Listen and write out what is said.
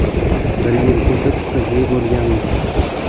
Bir yil o‘tib qizli bo‘lganmiz.